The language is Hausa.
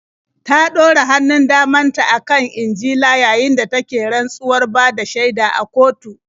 Ta ɗora hannun daman ta a kan Injila yayin da take rantsuwar bada shaida a kotu.